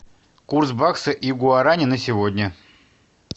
курс бакса и гуарани на сегодня